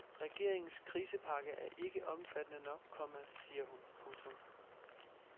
Regeringens krisepakke er ikke omfattende nok, komma siger hun. punktum